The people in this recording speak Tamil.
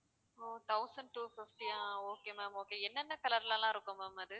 so thousand two fifty யா okay ma'am okay என்னென்ன color ல எல்லாம் இருக்கும் ma'am அது